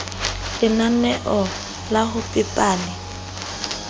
lenaneo la ho pepa le